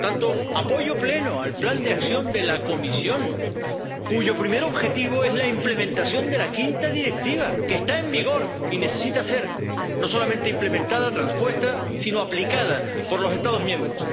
Por tanto, apoyo pleno al plan de acción de la Comisión, cuyo primer objetivo es la implementación de la quinta Directiva, que está en vigor y necesita ser no solamente implementada, transpuesta, sino aplicada por los Estados miembros.